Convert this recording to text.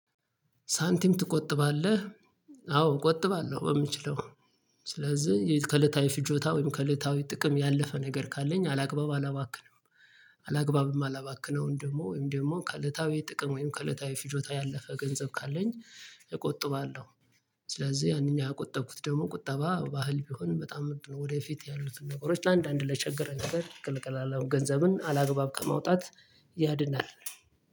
ሳንቲም ትቆጥባለህ? አዎ እቆጥባለሁ በምችለው ስለዚህ ከእለታዊ ፍጆታ ወይም ከእለታዊ ጥቅም ያለፈ ነገር ካለኝ አላግባብ አላባክንም። አላግባብም ማላባክነውን ደግሞ ወይም ደግሞ ከእለታዊ ጥቅም ወይም ከእለታዊ ፍጆታ ያለፈ ገንዘብ ካለኝ እቆጥባለሁ። ስለዚህ ያንን የከቆጠብኩት ደግሞ ቁጠባ ባህል ቢሆን በጣም ምርጥ ነው። ወደፊት ያሉትን ነገሮች አንዳንድ ለችግረን ነገር እገለገላለሁ ገንዘብን አላግባብ ከማውጣት ያድናል